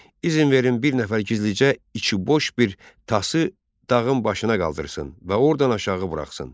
İzin verin bir nəfər gizlicə içiboş bir Tası dağın başına qaldırsın və ordan aşağı buraxsın.